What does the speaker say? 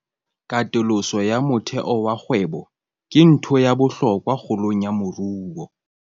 Katoloso ya motheo wa kgwebo ke ntho ya bohlokwa kgolong ya moruo.